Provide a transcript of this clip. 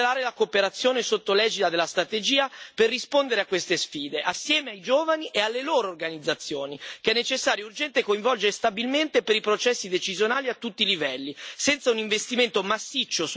Le autorità nazionali devono accelerare la cooperazione sotto l'egida della strategia per rispondere a queste sfide, assieme ai giovani e alle loro organizzazioni, che è necessario e urgente coinvolgere stabilmente per i processi decisionali, a tutti i livelli.